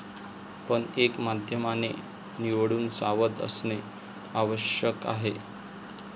पण एक माध्यमाने निवडून सावध असणे आवश्यक आहे.